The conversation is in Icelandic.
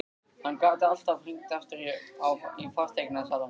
Hann gat alltaf hringt aftur í fasteignasalann.